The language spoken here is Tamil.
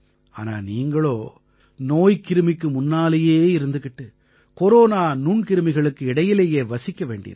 ஆனா நீங்களோ நோய்க்கிருமிக்கு முன்னாலயே இருந்துக்கிட்டு கொரோனா நுண்கிருமிகளுக்கு இடையிலேயே வசிக்க வேண்டியிருக்கு